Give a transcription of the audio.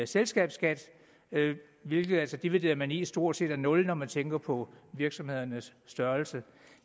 selskabsskat hvilket altså divideret med ni stort set er nul når man tænker på virksomhedernes størrelse